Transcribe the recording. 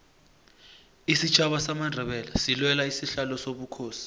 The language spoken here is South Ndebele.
isitjhaba samandebele silwela isihlalo sobukhosi